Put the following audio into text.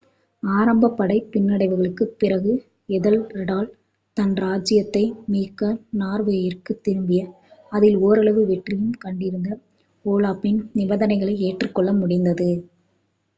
ஆரம்ப படைப் பின்னடைவுகளுக்குப் பிறகு ஏதெல்ரெட்டால் தன் ராஜ்ஜியத்தை மீட்க நார்வேயிற்குத் திரும்பி அதில் ஓரளவு வெற்றியும் கண்டிருந்த ஓலாஃப்பின் நிபந்தனைகளை ஏற்றுக்கொள்ள முடிந்தது